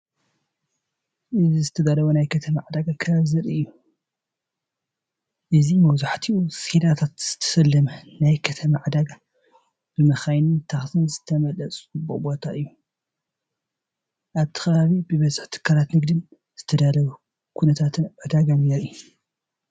እዚ ዝተዳለወ ናይ ከተማ ዕዳጋ ከባቢ ዘርኢ እዩ። እዚ ብብዙሕ ሰሌዳታት ዝተሰለመ ናይ ከተማ ዕዳጋ፡ ብመካይንን ታክሲን ዝተመልአ ጽዑቕ ቦታ እዩ። ኣብቲ ከባቢ ብዝሒ ትካላት ንግዲን ዝተዳለወ ኩነታት ዕዳጋን ይርአ።